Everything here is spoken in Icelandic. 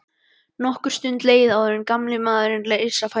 Nokkur stund leið áður en gamli maðurinn reis á fætur.